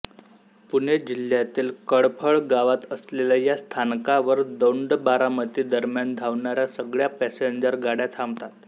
पुणे जिल्ह्यातील कटफळ गावात असलेल्या या स्थानकावर दौंडबारामती दरम्यान धावणाऱ्या सगळ्या पॅसेंजर गाड्या थांबतात